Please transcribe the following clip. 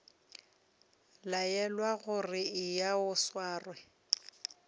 laelwa gore eya o sware